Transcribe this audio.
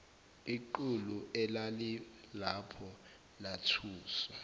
iqulu elalilapho lathuswa